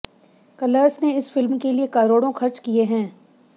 colours ने इस film के लिए करोड़ो खर्च किए हैं